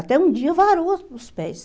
Até um dia varou os pés.